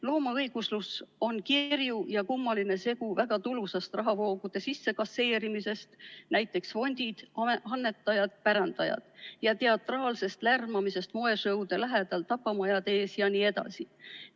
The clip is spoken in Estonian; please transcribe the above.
Loomaõiguslus on kirju ja kummaline segu väga tulusast rahavoogude sissekasseerimisest – näiteks fondid, annetajad, pärandajad –ja teatraalsest lärmamisest moesõude lähedal, tapamajade ees jne.